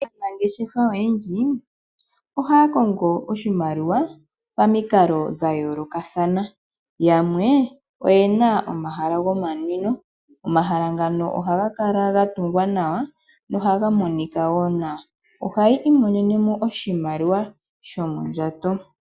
Aanangeshefa oyendji ohaya kongo oshimaliwa pamikalo dhayoolokathana, yamwe oye na omahala gomanwino. Omahala ngano ohaga kala ga tungwa nawa nohaga monika wo nawa. Ohayi imonene mo oshimaliwa shomondjato.